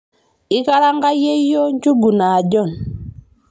ikaranga yeyio njugu naajon